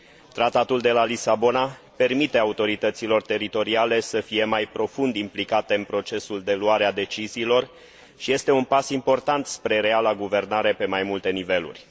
Tratatul de la Lisabona permite autorităților teritoriale să fie mai profund implicate în procesul de luare a deciziilor și este un pas important spre reala guvernare pe mai multe niveluri.